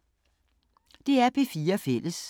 DR P4 Fælles